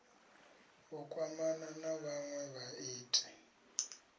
u kwamana na vhanwe vhaiti